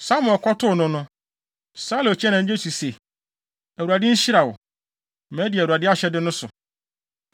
Samuel kɔtoo no no, Saulo kyiaa no anigye so se, “ Awurade nhyira wo. Madi Awurade ahyɛde no so.”